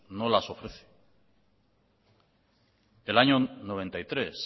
no las ofrece el año noventa y tres